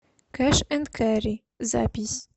кэш энд кэрри запись